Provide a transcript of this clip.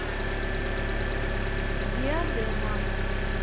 диадема